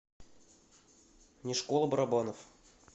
не школа барабанов